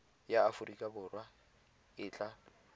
ya aforika borwa e tla